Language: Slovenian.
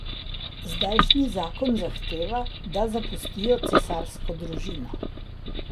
Zdajšnji zakon zahteva, da zapustijo cesarsko družino.